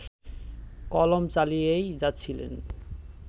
কলম চালিয়েই যাচ্ছিলেন